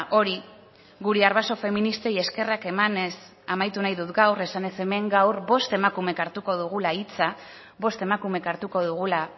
hori gure arbaso feministei eskerrak emanez amaitu nahi dut gaur esanez hemen gaur bost emakumek hartuko dugula hitza bost emakumek hartuko dugula